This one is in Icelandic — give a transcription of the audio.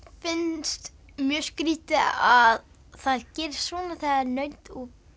finnst mjög skrítið að það gerist svona þegar naut